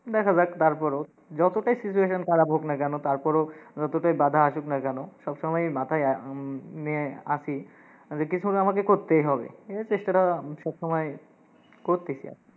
দেখা যাক তারপরও। যতোটাই situation খারাপ হোক না কেন তারপরও, যতোটাই বাঁধা আসুক না কেন, সবসময়ই মাথায় আহ উম নিয়ে আসি যে কিছু আমাকে করতেই হবে, এই চেষ্টাটা সবসময়ই করতেসি আর কি।